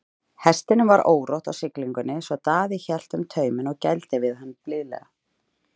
Hestinum var órótt á siglingunni svo Daði hélt um tauminn og gældi við hann blíðlega.